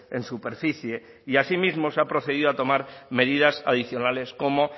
en superficie y así mismo se ha procedido a tomar medidas adicionales como